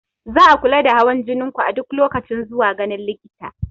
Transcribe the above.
Za a kula da hawan jinin ku a duk lokacin zuwa ganin likita.